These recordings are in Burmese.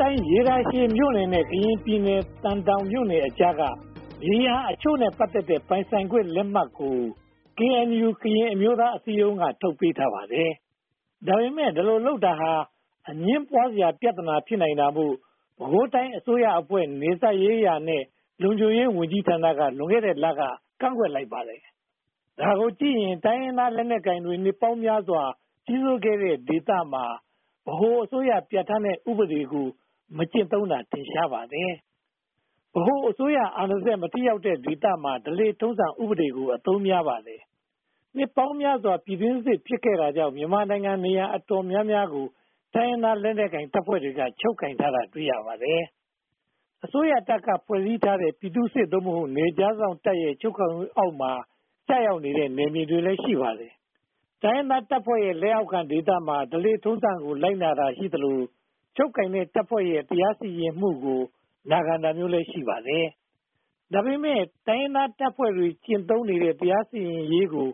တိုင်းရေတာရှည်မြို့နယ်နဲ့ ကရင်ပြည်နယ် သံတောင်မြို့နယ်အကြားက မြေယာအချို့နဲ့ ပတ်သက်တဲ့ ပိုင်ဆိုင်ခွင့်လက်မှတ်ကို KNU ကရင်အမျိုးသားအစည်းအရုံးက ထုတ်ပေးထားပါတယ်။ ဒါပေမဲ့ ဒီလိုလုပ်တာဟာ အငြင်းပွားစရာ ပြဿနာဖြစ်နိုင်တာမို့ ပဲခူးတိုင်းအစိုးရအဖွဲ့ နယ်စပ်ရေးရာနဲ့ လုံခြုံရေးဝန်ကြီးဌာနက လွန်ခဲ့တဲ့လက ကန့်ကွက်လိုက်ပါတယ်။ ဒါကိုကြည့်ရင် တိုင်းရင်းသားလက်နက်ကိုင်တွေ နှစ်ပေါင်းများစွာ ကြီးစိုးခဲ့တဲ့ဒေသမှာ ဗဟိုအစိုးရပြဌာန်းတဲ့ဥပဒေကို မကျင့်သုံးတာ ထင်ရှားပါတယ်။ ဗဟိုအစိုးရအာဏာစက် မထိရောက်တဲ့ဒေသမှာ ဓလေ့ထုံးစံဥပဒေကို အသုံးများပါတယ်။ နှစ်ပေါင်းများစွာ ပြည်တွင်းစစ်ဖြစ်ခဲ့တာကြောင့် မြန်မာနိုင်ငံနေရာ အတော်များများကို တိုင်းရင်းသားလက်နက်ကိုင်တပ်ဖွဲ့တွေက ချုပ်ကိုင်ထားတာတွေ့ရပါတယ်။ အစိုးရတပ်က ဖွဲ့စည်းထားတဲ့ ပြည်သူ့စစ် (သို့မဟုတ်) နယ်ခြားစောင့်တပ်ရဲ့ ချုပ်ကိုင်မှုအောက် ကျရောက်နေတဲ့ နယ်မြေလည်းရှိပါတယ်။ တိုင်းရင်းသားတပ်ဖွဲ့တွေရဲ့ လက်အောက်ခံဒေသမှာ ဓလေ့ထုံးစံကို လိုက်နာတာ ရှိသလို ချုပ်ကိုင်တဲ့တပ်ဖွဲ့ရဲ့ တရားစီရင်မှုကို နာခံရတာမျိုးလည်း ရှိပါတယ်။ ဒါပေမဲ့ တိုင်းရင်းသားတပ်ဖွဲ့တွေ ကျင့်သုံးနေတဲ့ တရားစီရင်ရေးကို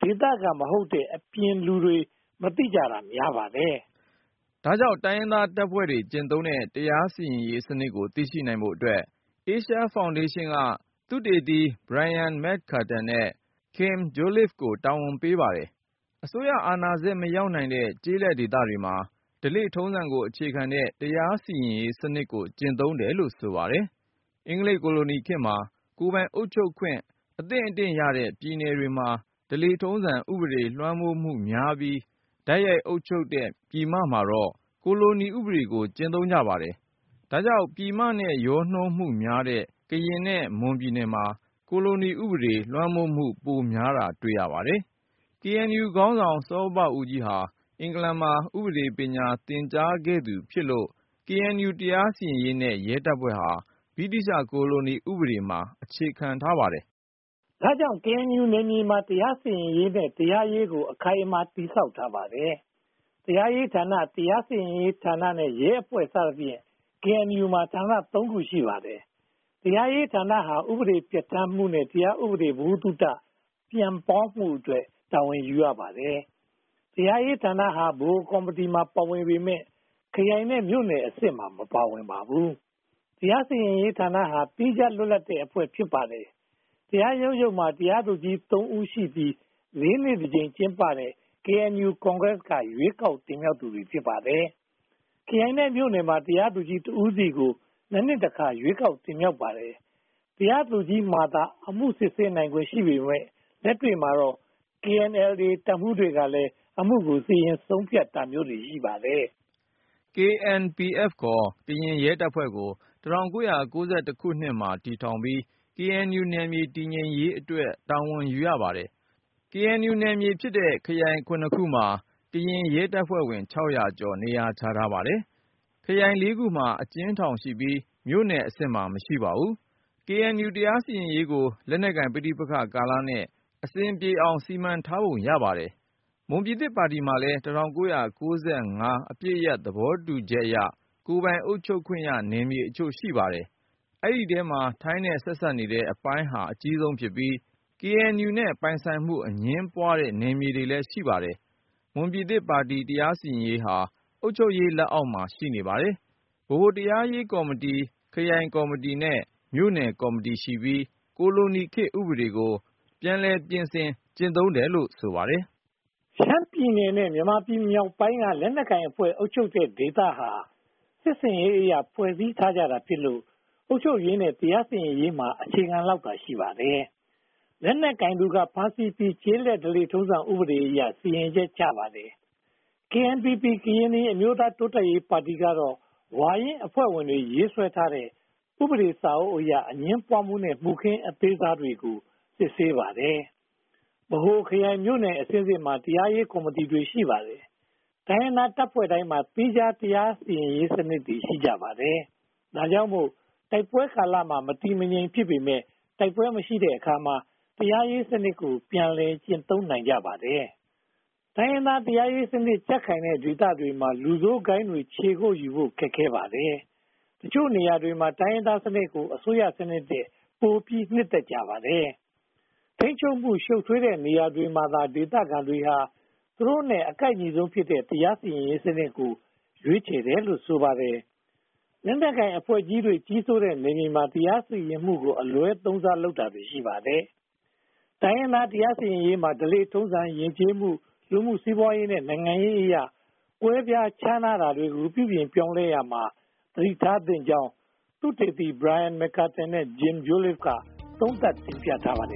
ဒေသခံမဟုတ်တဲ့ အပြင်လူတွေ မသိကြတာများပါတယ်။ ဒါကြောင့် တိုင်းရင်းသားတပ်ဖွဲ့တွေ ကျင့်သုံးတဲ့ တရားစီရင်ရေးစနစ်ကို သိရှိနိုင်ဖို့အတွက် Asia Foundation က သုတေသီ Brain McCartan နဲ့ Kim Jolliffe (ဂျိုးလစ်ဖ်) ကို တာဝန်ပေးပါတယ်။ အစိုးရအာဏာစက် မရောက်နိုင်တဲ့ ကျေးလက်ဒေသတွေမှာ ဓလေ့ထုံးစံကို အခြေခံတဲ့ တရားစီရင်ရေးစနစ်ကို ကျင့်သုံးတယ်လို့ ဆိုပါတယ်။ အင်္ဂလိပ်ကိုလိုနီခေတ်မှာ ကိုယ်ပိုင်အုပ်ချုပ်ခွင့် အသင့်အတင်ရတဲ့ ပြည်နယ်တွေမှာ ဓလေ့ထုံးစံ ဥပဒေလွှမ်းမိုးမှုများပြီး တိုက်ရိုက်အုပ်ချုပ်တဲ့ ပြည်ပမှာတော့ ကိုလိုနီဥပဒေကို ကျင့်သုံးပါတယ်။ ဒါကြောင့် ပြည်မနဲ့ ရောနှောမှုများတဲ့ ကရင်နဲ့ မွန်ပြည်နယ်မှာ ကိုလိုနီဥပဒေ လွှမ်းမိုးမှု ပိုများတာ တွေ့ရပါတယ်။ KNU ခေါင်းဆောင် စောဘဦးကြီးဟာ အင်္ဂလန်မှာ ဥပဒေ ပညာသင်ကြားခဲ့သူ ဖြစ်လို့ KNU တရားစီရင်ရေးနဲ့ ရဲတပ်ဖွဲ့ဟာ ဗြိတိသျှ ကိုလိုနီဥပဒေမှာ အခြေခံပါတယ်။ ဒါကြောင့် KNU နယ်မြေမှာ တရားစီရင်ရေးနဲ့ တရားရေးကို အခိုင်အမာ တည်ဆောက်ထားပါတယ်။ တရားရေးဌာန၊ တရားစီရင်ရေးဌာနနဲ့ ရဲအဖွဲ့စသဖြင့် KNU မှာ ဌာနသုံးခု ရှိပါတယ်။ တရားရေးဌာနဟာ ဥပဒေပြဌာန်းမှုနဲ့ တရားဥပဒေ ဗဟုသုတပြန့်ပွားမှုအတွက် တာဝန်ယူရပါတယ်။ တရားရေးဌာနဟာ ဗဟိုကော်မတီမှာ ပါဝင်ပေမယ့် ခရိုင်နဲ့ မြို့နယ်အဆင့်မှာ မပါဝင်ပါဘူး။ တရားစီရင်ရေးဌာနဟာ သီးခြားလွတ်လပ်တဲ့အဖွဲ့ ဖြစ်ပါတယ်။ တရားရုံးချုပ်မှာ တရားသူကြီးချုပ်သုံးသီးရှိပြီး လေးနှစ်တကြိမ် ကျင်းပတဲ့ KNU ကွန်ဂရက်က ရွေးကောက်တင်မြှောက်သူတွေ ဖြစ်ပါတယ်။ ခရိုင်နဲ့ မြို့နယ်တွေမှာ တရားသူကြီးတဦးစီကို (၂) နှစ်တခါ ရွေးကောက်တင်မြှောက်ပါတယ်။ တရားသူကြီးမှာသာ အမှုစစ်ဆေးခွင့်ရှိပေမယ့် လက်တွေ့မှာတော့ KNLA တပ်မှူးတွေက အမှုကို စီရင်ဆုံးဖြတ်တာမျိုးတွေ ရှိပါတယ်။ KNPF ခေါ် ကရင်တပ်ဖွဲ့ကို ၁၉၉၁ မှာ တည်ထောင်ပြီး KNU နယ်မြေ တည်ငြိမ်ရေးအတွက် တာဝန်ယူရပါတယ်။ KNU နယ်မြေဖြစ်တဲ့ ခရိုင် (၇) ခုမှာ ကရင်ရဲတပ်ဖွဲ့ဝင် (၆၀၀) ကျော် နေရာချထားပါတယ်။ ခရိုင် (၄) ခုမှာ အကျဉ်းထောင်ရှိပြီး မြို့နယ်အဆင့်မှာ မရှိပါ။ KNU တရားစီရင်ရေးကို လက်နက်ကိုင်ပဋိပက္ခကာလနဲ့ အဆင်ပြေအောင် စီမံထားပုံရပါတယ်။ မွန်ပြည်သစ်ပါတီမှာလည်း ၁၉၉၅ အပစ်ရပ်သဘောတူချက်အရ ကိုယ်ပိုင်အုပ်ချုပ်ခွင့်ရနယ်မြေအချို့ ရှိနေပါတယ်။ ဒီအထဲမှာ ထိုင်းနဲ့ဆက်စပ်နေတဲ့ အပိုင်းဟာ အကြီးဆုံးဖြစ်ပြီး KNU နဲ့ ပိုင်ဆိုင်မှု အငြင်းပွားတဲ့ နယ်မြေကလည်း ရှိပါတယ်။ မွန်ပြည်သစ်ပါတီ တရားစီရင်ရေးဟာ အုပ်ချုပ်ရေးလက်အောက်မှာ ရှိပါတယ်။ ဗဟိုတရားရေးကော်မတီ၊ ခရိုင်ကော်မတီ၊ မြို့နယ်ကော်မတီရှိပြီး ကိုလိုနီခေတ်ဥပဒေကို ပြန်လည်ပြင်ဆင်ကျင့်သုံးတယ်လို့ ဆိုပါတယ်။ ရှမ်းပြည်နယ်နဲ့ မြန်မာပြည်မြောက်ပိုင်းက လက်နက်ကိုင်အဖွဲ့ ချုပ်ကိုင်ရာဒေသဟာ စစ်ရေးအရ ဖွဲ့စည်းထားကြတာဖြစ်လို့ အုပ်ချုပ်ရေးနဲ့ တရားစီရင်ရေးမှာ အခြေခံလောက်သာ ရှိပါတယ်။ လက်နက်ကိုင်သူက ဖမ်းဆီးပြီး ကျေးလက်ဓလေ့ထုံးစံဥပဒေအရ စီရင်ချက်ချပါတယ်။ KNPP ကရင်အမျိုးသား တိုးတက်ရေးပါတီကတော့ ဝါရင့်အဖွဲ့ဝင်တွေ ရေးဆွဲတဲ့ ဥပဒေစာအုပ်အရ အငြင်းပွားမှုနဲ့ မှုခင်းအသေးစားတွေကို စစ်ဆေးပါတယ်။ ဗဟို၊ ခရိုင်၊ မြို့နယ်အဆင့်ဆင့်မှာ တရားရေးကော်မတီတွေ ရှိပါတယ်။ တိုင်းရင်းသားတပ်ဖွဲ့တိုင်းမှာ သီးခြားတရားရေးစနစ်တွေ ရှိကြပါတယ်။ ဒါကြောင့်မို့ တိုက်ပွဲကာလမှာ မတည်မငြိမ် ဖြစ်ပေမယ့် တိုက်ပွဲမရှိတဲ့အခါမှာ တရားရေးစနစ်ကို ပြန်လည်ကျင့်သုံးနိုင်ကြပါတယ်။ တိုင်းရင်းသားတရားရေးစနစ် ကြံ့ခိုင်တဲ့နေရာဒေသတွေမှာ လူဆိုးဂိုဏ်းတွေ ခြေကုတ်ယူဖို့ ခက်ခဲပါတယ်။ တချို့နေရာတွေမှာ တိုင်းရင်းသားစနစ်ကို အစိုးရစနစ်ထက်ပိုပြီး နှစ်သက်ကြပါတယ်။ ထိန်းချုပ်မှု ရှုပ်ထွေးတဲ့နေရာတွေမှာတော့ ဒေသခံတွေဟာ သူတို့နဲ့ အကိုက်ညီဆုံးဖြစ်မယ့် တရားရေးစနစ်ကို ရွေးချယ်တယ်လို့ ဆိုပါတယ်။ လက်နက်ကိုင်အဖွဲ့ ကြီးစိုးတဲ့နယ်မြေမှာ တရားစီရင်မှုကို အလွှဲသုံးစားလုပ်တာ ရှိပါတယ်။ တိုင်းရင်းသားတရားစီရင်ရေးမှာ ဓလေ့ထုံးစံ၊ ယဉ်ကျေးမှု၊ လူမှုစီးပွားရေးနဲ့ နိုင်ငံရေးအရ ကွဲပြားခြားနားကြတာကို ပြုပြင်ရေးလုပ်ရာမှာ သတိထားသင့်ကြောင်း သုတေသီ Brain McCartan နဲ့ Kim Jolliffe (ဂျိုးလစ်ဖ်) တို့က သုံးသပ်တင်ပြထားပါတယ်